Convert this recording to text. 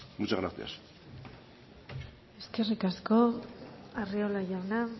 muchas gracias eskerrik asko arriola jauna